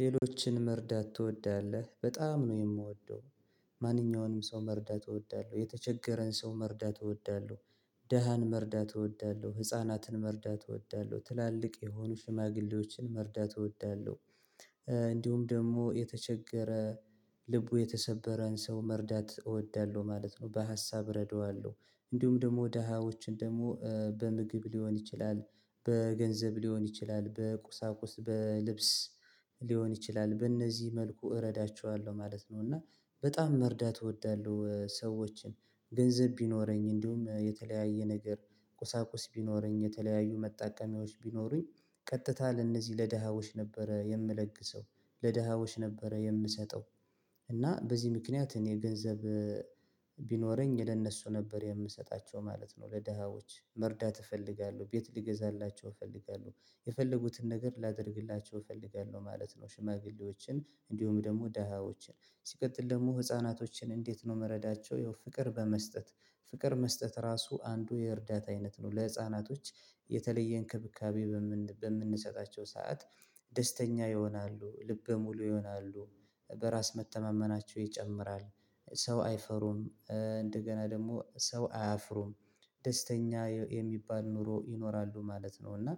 ሌሎችን መርዳት ትወዳለህ በጣም ነው የምወደው? ማንኛውንም ሰው መርዳት እወዳለሁ የተቸገረን ሰው መርዳት እወዳለሁ ድሀን መርዳት እወዳለሁ ህፃናትን መርዳት እወዳለሁ ትላልቅ የሆኑ ሽማግሌዎችን መርዳት እወዳለሁ። እንዲሁም ደግሞ የተቸገረ ልቡ የተሰበረን ሰው መርዳት እወዳለሁ ማለት ነው። በሀሳብ እረዳዋለሁ እንዲሁም ደግሞ ደህስዎችን ደግሞ በምግብ ሊሆን ይችላል በገንዘብ ሊሆን ይችላል በቁሳቁስ በልብስ ሊሆን ይችላል በእነዚህ መልኩ እረዳቸዋለሁ ማለት ነው። እና በጣም መርዳት እወዳለሁ። ሰዎችን ገንዘብ ቢኖረኝ እንዲሁም የተለያየ ነገር ቁሳቁስ ቢኖረኝ የተለያዩ መጣቀሚያዎች ቢኖሩኝ ቀጥታ ለእነዚህ ለደሃዎች ነበረ የምለግሰው ለደሃዎች ነበረ የምሰጠው። እና በዚህ ምክንያት እኔ ገንዘብ ቢኖረኝ ለነሱ ነበር የምሰጣቸው ማለት ነው። ለደሃዎች መርዳት እፈልጋለሁ ቤት ልገዛላቸው እፈልጋለሁ የፈለጉትን ነገር ላደርግላቸው እፈልጋለሁ ማለት ነው። ሽማግሌዎችን እንዲሁም ደግሞ ደሃዎችን ሲቀጥል ደግሞ ህፃናቶችን እንዴት ነው ምረዳቸው? ያው ፍቅር በመስጠት ፍቅር መስጠት ራሱ አንዱ የእርዳታ አይነት ነው። ለህፃናቶች የተለየ እንክብካቤ በምን በምንሰጣቸው ሰዓት ደስተኛ ይሆናሉ ልበ ሙሉ ይሆናሉ በራስ መተማመናቸው ይጨምራል ሰው አይፈሩም እንደገና ደግሞ ሰው አያፍሩም ደስተኛ የሚባል ኑሮ ይኖራሉ ማለት ነው። እና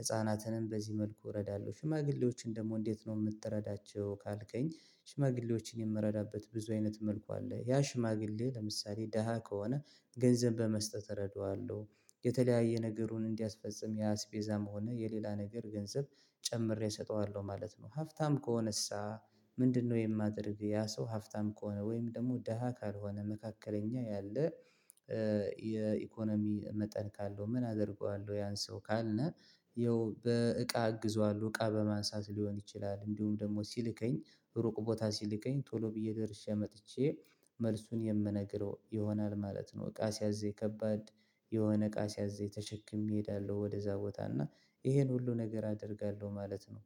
ህፃናትንም በዚህ መልኩ እረዳለሁ። ሽማግሌዎችን ደግሞ እንዴት ነው ምትረዳቸው? ካልከኝ ሽማግሌዎችን የምረዳበት ብዙ አይነት መልኩ አለ። ያ ሽማግሌ ለምሳሌ ደሃ ከሆነ ገንዘብ በመስጠት እረዳዋለሁ። የተለያየ ነገሩን እንዲያስፈጽም የአስቤዛም ሆነ የሌላ ነገር ገንዘብ ጨምሬ እሰጠዋለሁ ማለት ነው። ሀብታም ከሆነሳ ምንድነው የማደርግ ያ ሰው ሀብታም ከሆነ ወይም ደግሞ ደሃ ካልሆነ መካከለኛ ያለ የኢኮኖሚ መጠን ካለው ምን አደርገዋለሁ? ያን ሰው ካልን ይኸው በእቃ አግዝዋለው እቃ በማንሳት ሊሆን ይችላል እንዲሁም ደግሞ ሲልከኝ ሩቅ ቦታ ሲልከኝ ቶሎ ብዬ ደርሼ መጥቼ መልሱን የምነግረው ይሆናል ማለት ነው። እቃ ሲያዘኝ ከባድ የሆነ እቃ ሲያዝኝ ተሸክሜ እሄዳለሁ ወደዛ ቦታ እና ይሄን ሁሉ ነገር አደርጋለሁ ማለት ነው።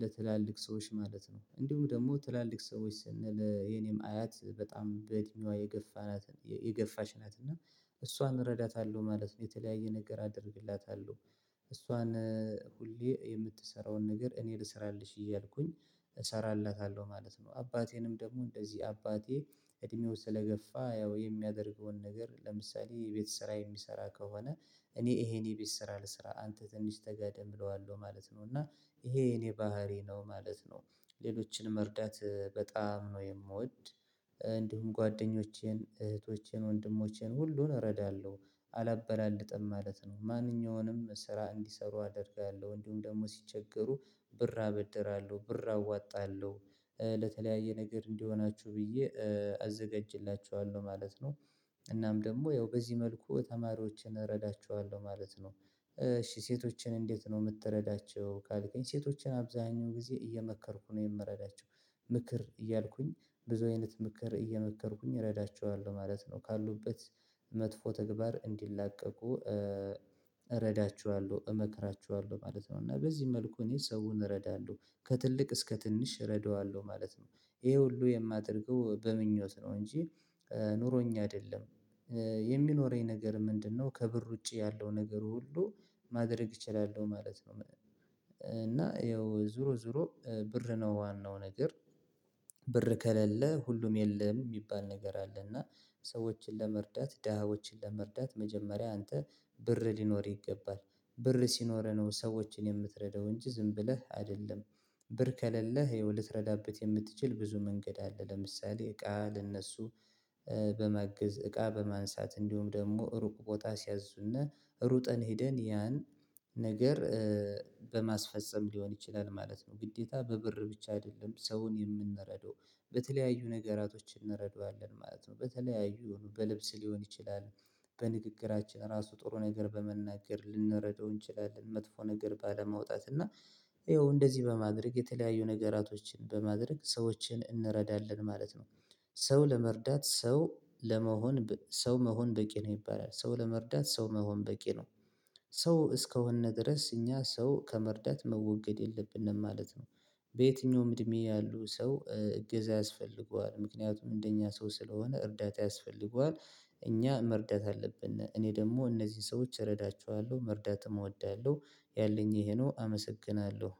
ለትላልቅ ሰዎች ማለት ነው እንዲሁም ደግሞ ትላልቅ ሰዎች ስንል የኔም አያት በጣም በእድሜዋ የገፋች ናት እና እሷን እረዳታለሁ ማለት ነው። የተለያየ ነገር አደርግላታለሁ እሷን ሁሌ የምትሰራውን ነገር እኔ ልስራልሽ እያልኩኝ እሰራላታለሁ ማለት ነው። አባቴንም ደግሞ እንደዚህ አባቴ እድሜው ስለገፋ ያው የሚያደርገውን ነገር ለምሳሌ የቤት ስራ የሚሰራ ከሆነ እኔ ይሄን የቤት ስራ ልስራ አንተ ትንሽ ተጋደም እለዋለሁ ማለት ነው። እና ይሄ የኔ ባህሪ ነው ማለት ነው። ሌሎችን መርዳት በጣም ነው የምወድ። ጓደኛዬን እህቶቼን ወንድሞቼን ሁሉን እረዳለሁ አላበላልጥም ማለት ነው። ማንኛውንም ስራ እንዲሰሩ አደርጋለሁ እንዲሁም ደግሞ ሲቸገሩ ብር አበድራለሁ ብር አዋጣለሁ ለተለያየ ነገር እንዲሆናችሁ ብዬ አዘጋጅላችኋለሁ ማለት ነው። እናም ደግሞ ያው በዚህ መልኩ ተማሪዎችን እረዳችኋለሁ ማለት ነው። እሺ ሴቶችን እንዴት ነው የምትረዳቸው ካልከኝ? ሴቶችን አብዛኛው ጊዜ እየመከርኩ ነው የምረዳቸው። ምክር እያልኩኝ ብዙ አይነት ምክር እየመከርኩኝ እረዳቸዋለሁ ማለት ነው። ካሉበት መጥፎ ተግባር እንዲላቀቁ እረዳችኋለው እመክራችኋለው ማለት ነው። እና በዚህ መልኩ እኔ ሰውን እረዳለሁ ከትልቅ እስከ ትንሽ እረዷለው ማለት ነው። ይሄ ሁሉ የማደርገው በምኞት ነው። እንጂ ኑሮኝ አይደለም። የሚኖረኝ ነገር ምንድነው? ከብር ውጪ ያለው ነገር ሁሉ ማድረግ እችላለሁ ማለት ነው። እና ይኸው ዙሮ ዙሮ ብር ነው ዋናው ነገር። ብር ከሌለ ሁሉም የለም የሚባል ነገር አለና ሰዎችን ለመርዳት ደሃዎችን ለመርዳት መጀመሪያ አንተ ብር ሊኖርህ ይገባል። ብር ሲኖረህ ነው ሰዎችን የምትረዳው እንጂ ዝም ብለህ አይደለም። ብር ከሌለህ ይኸው ልትረዳበት የምትችል ብዙ መንገድ አለ። ለምሳሌ እቃ ለእነሱ በማገዝ እቃ በማንሳት እንዲሁም ደግሞ ሩቅ ቦታ ሲያዙን ሩጠን ሄደን ያን ነገር በማስፈፀም ሊሆን ይችላል ማለት ነው። ግዴታ በብር ብቻ አይደለም ሰውን የምንረዳው። በተለያዩ ነገራቶች እንረዳዋለን ማለት ነው። በተለያዩ በልብስ ሊሆን ይችላል። በንግግራችን ራሱ ጥሩ ነገር በመናገር ልንረዳው እንችላለን መጥፎ ነገር ባለማውጣት እና ይኸው እንደዚህ በማድረግ የተለያዩ ነገራቶችን በማድረግ ሰዎችን እንረዳለን ማለት ነው። ሰው ለመርዳት ሰው ለመሆን ሰው መሆን በቂ ነው ይባላል። ሰው ለመርዳት ሰው መሆን በቂ ነው። ሰው እስከሆን ድረስ እኛ ሰው ከመርዳት መወገድ የለብንም ማለት ነው። በየትኛውም እድሜ ያሉ ሰው እገዛ ያስፈልገዋል ምክንያቱም እንደኛ ሰው ስለሆነ እርዳታ ያስፈልገዋል። እኛ መርዳት አለብን እኔ ደግሞ እነዚህን ሰዎች እረዳችኋለሁ መርዳትም እወዳለሁ። ያለኝ ይሄ ነው አመሰግናለሁ